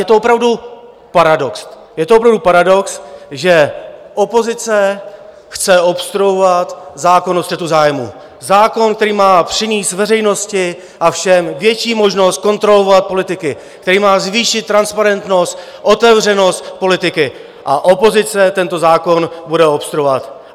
Je to opravdu paradox, že opozice chce obstruovat zákon o střetu zájmů, zákon, který má přinést veřejnosti a všem větší možnost kontrolovat politiky, který má zvýšit transparentnost, otevřenost politiky, a opozice tento zákon bude obstruovat.